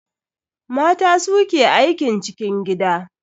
Mata su ke aikin cikin gida.